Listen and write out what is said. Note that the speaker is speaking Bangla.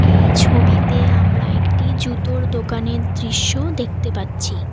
এই ছবিতে আমরা একটি জুতোর দোকানের দৃশ্য দেখতে পাচ্ছি।